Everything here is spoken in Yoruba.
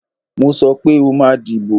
Mo sọ pé o máa dìbò